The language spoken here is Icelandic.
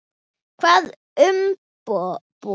Hvaða umboð?